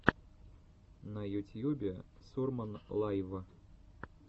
на ютьюбе сурман лайв